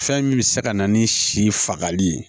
Fɛn min bɛ se ka na ni si fagali ye